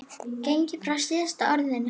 gengið frá SÍÐASTA ORÐINU.